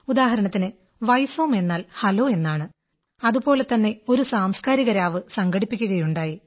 ഉദാഹരണത്തിന് വൈസോം വൈസോം എന്നാൽ ഹലോ എന്നാണ് അതുപോലെതന്നെ ഒരു സാംസ്കാരിക രാവ് സംഘടിപ്പിക്കയുണ്ടായി